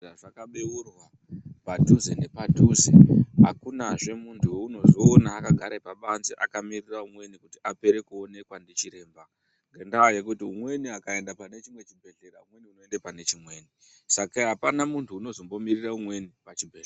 Zvaka beurwa pa dhuze nepa dhuze akuna zve muntu wounozoona aka gara pa banze aka miririra umweni kuti apere kuonekwa ndi chiremba ngenda yekuti mumweni akaenda pane chimwe chibhedhleya umweni unoenda pane chimweni saka apana muntu unozombo mirira umweni pa chibhedhleya.